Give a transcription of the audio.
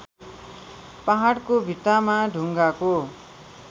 पहाडको भित्तामा ढुङ्गाको